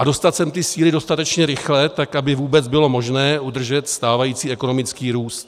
A dostat sem ty síly dostatečně rychle, tak aby vůbec bylo možné udržet stávající ekonomický růst.